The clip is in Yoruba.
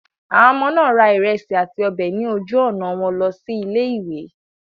Àwọn ọmọ náà ra ìrẹsì àti ọbẹ̀ ní ojú-ọ̀nà wọn lọ sí ilé-ìwé.